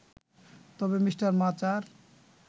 তবে মিঃ মাচার